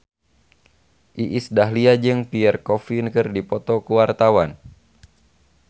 Iis Dahlia jeung Pierre Coffin keur dipoto ku wartawan